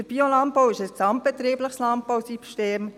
Der Biolandbau ist ein gesamtbetriebliches Landbausystem.